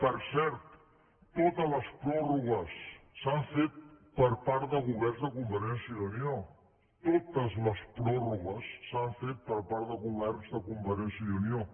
per cert totes les pròrrogues s’han fet per part de governs de convergència i unió totes les pròrrogues s’han fet per part de governs de convergència i unió